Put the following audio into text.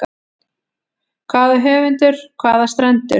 Hvaða höf, hvaða strendur.